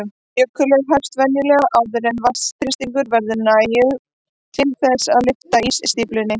Jökulhlaup hefjast venjulega áður en vatnsþrýstingur verður nægur til þess að lyfta ísstíflunni.